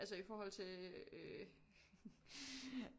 Altså i forhold til øh